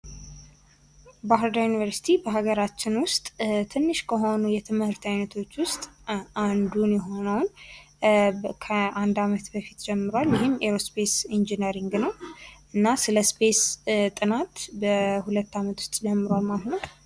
ባህር ዳር ዩኒቨርስቲ በሀገራችን ውስጥ ትንሽ ከሆኑ የትምህርት አይነቶች ውስጥ አንዱን የሆነውን ከአንድ አመት በፊት ጀምሯል ይህም አይሮ ስፓስ ኢንጂነሪንግ ነው እና ስለ ስፔስ ጥና በሁለት ዓመት ውስጥ ጀምሯል ማለት ነው ::